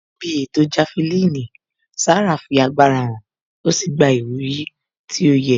Níbi ètò jafelini, Sarah fi agbára hàn ó sì gba ìwúrí tó yẹ